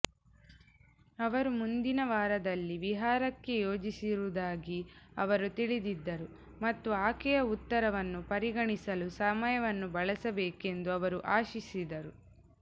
ಅವರು ಮುಂದಿನ ವಾರದಲ್ಲಿ ವಿಹಾರಕ್ಕೆ ಯೋಜಿಸಿರುವುದಾಗಿ ಅವರು ತಿಳಿದಿದ್ದರು ಮತ್ತು ಆಕೆಯ ಉತ್ತರವನ್ನು ಪರಿಗಣಿಸಲು ಸಮಯವನ್ನು ಬಳಸಬೇಕೆಂದು ಅವರು ಆಶಿಸಿದರು